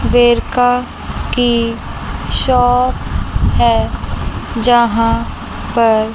वेरका की शॉप है यहां पर--